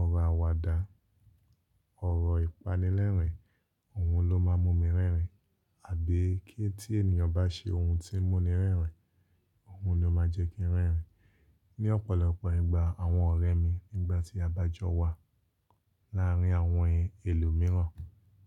Ọ̀rọ̀ àwàdà, ọ̀rọ̀ ìpánilẹ́rìn, òun ló máa ń mú mi rẹ́rìn, àbí kí tí ènìyàn bá ṣe ohun tí ń mú ni rẹ́rìn, òun ni ó máa jẹ́ kí ń rẹ́rìn. Ni ọ̀pọ̀lọpọ̀ ìgbà àwọn ọ̀rẹ́ mi nígbà tí a bá jọ wà láàárín àwọn ẹlòmíràn,